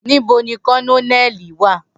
Nibo ni Kononeli wa?